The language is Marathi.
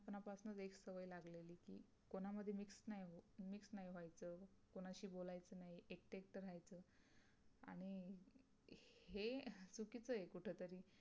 हे चुकीचे आहे कुठतरी